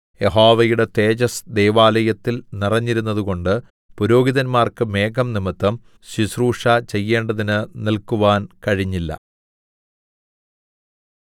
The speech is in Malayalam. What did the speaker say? യഹോവയുടെ തേജസ്സ് ദൈവാലയത്തിൽ നിറഞ്ഞിരുന്നതുകൊണ്ട് പുരോഹിതന്മാർക്ക് മേഘം നിമിത്തം ശുശ്രൂഷ ചെയ്യേണ്ടതിന് നിൽക്കുവാൻ കഴിഞ്ഞില്ല